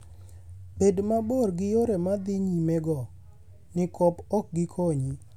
Bed mabor gi yore ma dhi nyimego, nikop ok gikonyi.